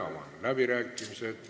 Avan läbirääkimised.